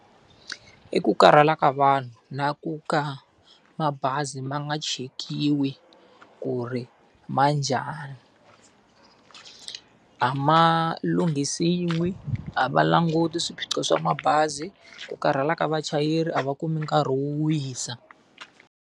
I ku karhala ka vanhu na ku ka mabazi ma nga chekiwi ku ri ma njhani. A ma lunghisiwi, a va languti swiphiqo swa mabazi, ku karhala ka vachayeri a va kumi nkarhi wo wisa.